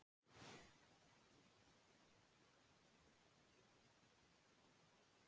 Alþjóðamálið lætur hvarvetna í eyrum, á götum úti, í sporvögnum, á kaffihúsum.